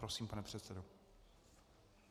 Prosím, pane předsedo.